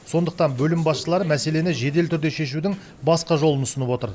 сондықтан бөлім басшылары мәселені жедел түрде шешудің басқа жолын ұсынып отыр